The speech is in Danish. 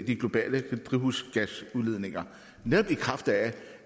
de globale drivhusgasudledninger netop i kraft af